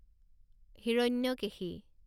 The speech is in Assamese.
হিৰণ্যকেশী